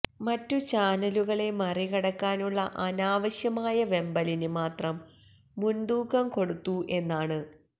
മറ്റ് ചാനലുകളെ മറികടക്കാനുള്ള അനാവശ്യമായ വെമ്പലിന് മാത്രം മുന്തൂക്കം കൊടുത്തു എന്നാണ്